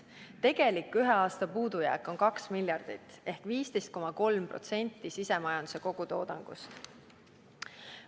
Tegelik ühe aasta puudujääk on kaks miljardit ehk 15,3% sisemajanduse kogutoodangust.